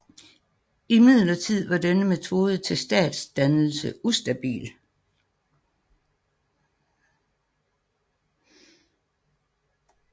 Imidlertid var denne metode til statsdannelse ustabil